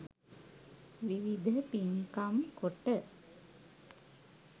විවිධ පින්කම් කොට